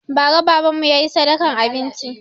Ba ra baban mu ya yi sadakan abinci